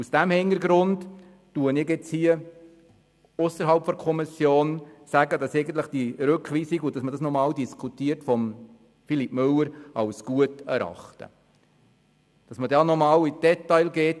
Aus diesem Hintergrund sage ich ausserhalb der Kommission, dass ich den Vorschlag von Philippe Müller, nochmals in der Kommission darüber zu diskutieren, als gut erachte.